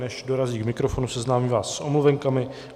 Než dorazí k mikrofonu, seznámím vás s omluvenkami.